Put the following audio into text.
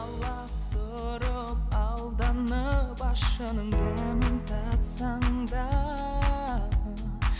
аласұрып алданып ащының дәмін татсаң да